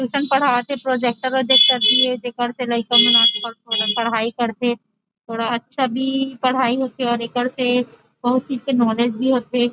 Tuition पढ़ा के projector ल देख कर दिए ये देख के लड़कन पढाई करतथे थोड़ा अच्छा पढ़ाई भी होथे और एकर से बहुत चीज के नोलेज भी होथे।